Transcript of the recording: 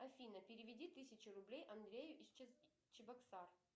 афина переведи тысячу рублей андрею из чебоксар